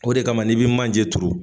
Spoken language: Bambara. O de kama n'i bi manje turu.